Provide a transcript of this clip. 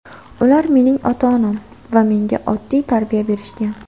Ular mening ota-onam va menga oddiy tarbiya berishgan.